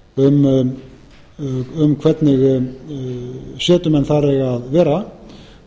tilmælin um eftirlitsráðið um hvernig setumenn þar eiga að vera